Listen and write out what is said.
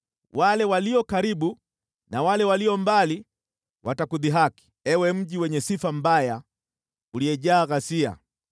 Wale walio karibu na wale walio mbali watakudhihaki, Ewe mji wenye sifa mbaya, uliyejaa ghasia.